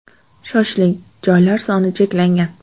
Shoshiling, joylar soni cheklangan.